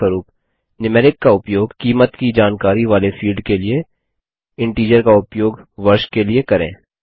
उदाहरणस्वरूप न्यूमेरिक का उपयोग कीमत की जानकारी वाले फील्ड के लिए इंटीजर का उपयोग वर्ष के लिए करें